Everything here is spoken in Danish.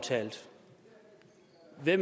jeg